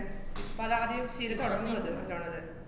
ആഹ് ഇപ്പ അതാദ്യം ശീലം തുടങ്ങ്ന്ന്ണ്ട്. നല്ലോണത്.